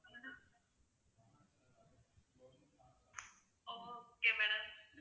okay madam